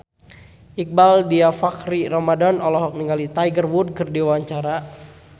Iqbaal Dhiafakhri Ramadhan olohok ningali Tiger Wood keur diwawancara